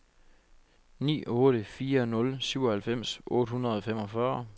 ni otte fire nul syvoghalvfems otte hundrede og femogfyrre